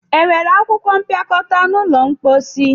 Enwere akwụkwọ mpịakọta n'ụlọ mposi?